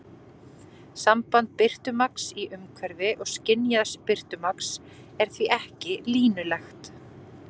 Samband birtumagns í umhverfi og skynjaðs birtumagns er því ekki línulegt.